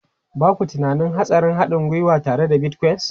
Ba ku tunanin hatsarin haɗin gwiwa tare da Bitcoin?